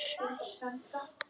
Það voru fáar endur.